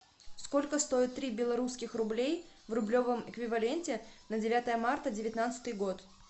сколько стоит три белорусских рублей в рублевом эквиваленте на девятое марта девятнадцатый год